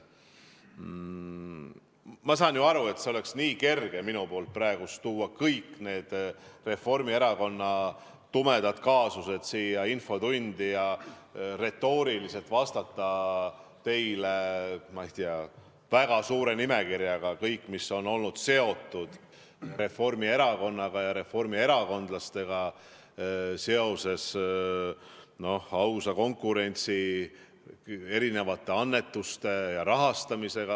Ma saan ju aru, et mul oleks praegu kerge tuua kõik Reformierakonna tumedad kaasused siia infotundi ja teile retooriliselt vastata, ma ei tea, väga pika nimekirjaga, kõigega, mis on olnud seotud Reformierakonna ja reformierakondlastega seoses ausa konkurentsi, annetuste ja rahastamisega.